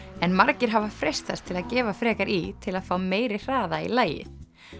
en margir hafa freistast til að gefa frekar í til að fá meiri hraða í lagið